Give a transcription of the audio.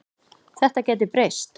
Þetta gæti breyst.